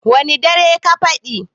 wane darai ka faɗi?